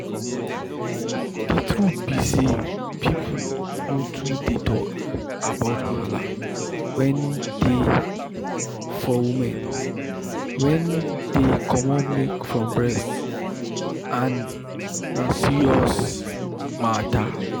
the truth be say people nor too dey talk about wahala wen dey for woman wen dey comot milk from breast and na serious matter.